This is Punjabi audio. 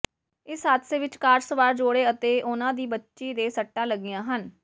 ਇਸ ਹਾਦਸੇ ਵਿਚ ਕਾਰ ਸਵਾਰ ਜੋੜੇ ਅਤੇ ਉਨ੍ਹਾਂ ਦੀ ਬੱਚੀ ਦੇ ਸੱਟਾਂ ਲੱਗੀਆਂ ਹਨ